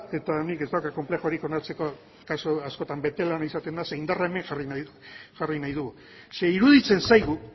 eta nik ez daukat konplexurik onartzeko kasu askotan bete lana izaten da zeren indarra hemen jarri nahi dugu zeren iruditzen zaigu